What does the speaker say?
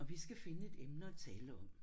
Og vi skal finde et emne at tale om